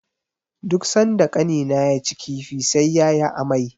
Duk sanda Ƙanina yaci kifi, sai ya yi amai.